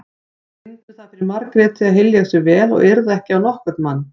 Brýndu það fyrir Margréti að hylja sig vel og yrða ekki á nokkurn mann.